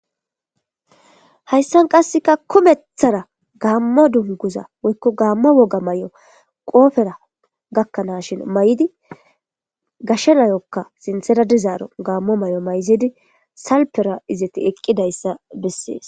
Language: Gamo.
Hayssan qasseka kumethara gaammo dunguza woykko gaamma woga may,o qoofera gakkanashin may.idi gasha nayokka sintheradizaaro gaammo may,o mayzidi salpera izati eqqidayssa bessees.